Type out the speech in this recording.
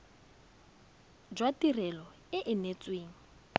jwa tirelo e e neetsweng